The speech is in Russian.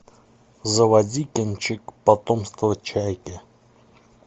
заводи кинчик потомство чайки